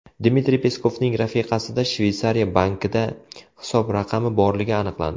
Dmitriy Peskovning rafiqasida Shveysariya bankida hisob raqami borligi aniqlandi.